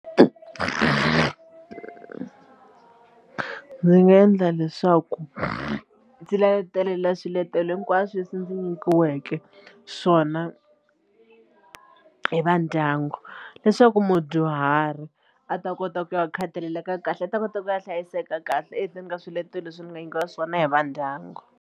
Ndzi nga endla leswaku ndzi swiletelo hinkwaswo leswi ndzi nyikiweke swona hi va ndyangu leswaku mudyuhari a ta kota ku ya khathalelelaka kahle a ta kota ku ya hlayiseka kahle ehenhleni ka swiletelo leswi ni nga nyikiwa swona hi va ndyangu.